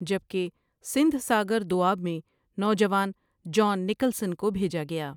جب کہ سندھ ساگر دوآب میں نواجوان جان نکلسن کو بھیجا گیا ۔